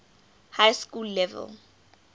high school level